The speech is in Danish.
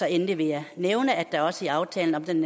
endelig vil jeg nævne at der også i aftalen om den